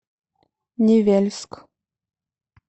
невельск